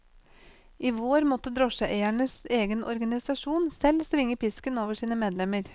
I vår måtte drosjeeiernes egen organisasjon selv svinge pisken over sine medlemmer.